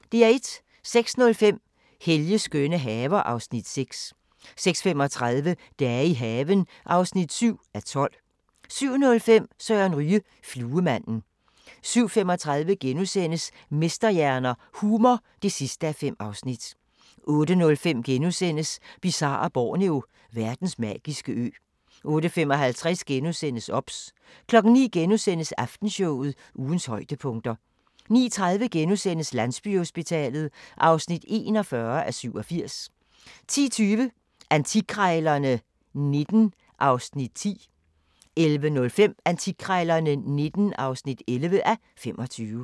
06:05: Helges skønne haver (Afs. 6) 06:35: Dage i haven (7:12) 07:05: Søren Ryge: Fluemanden 07:35: Mesterhjerner – Humor (5:5)* 08:05: Bizarre Borneo: Verdens magiske ø * 08:55: OBS * 09:00: Aftenshowet – ugens højdepunkter * 09:30: Landsbyhospitalet (41:87)* 10:20: Antikkrejlerne XIX (10:25) 11:05: Antikkrejlerne XIX (11:25)